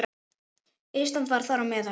Ísland var þar á meðal.